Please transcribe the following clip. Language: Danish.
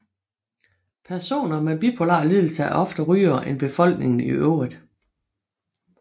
Personer med bipolar lidelse er oftere rygere end befolkningen i øvrigt